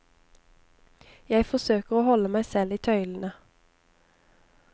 Jeg forsøker å holde meg selv i tøylene.